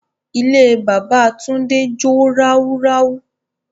Ilé bábà Túndé jó ráúráú.